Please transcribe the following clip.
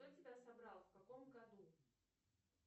кто тебя собрал в каком году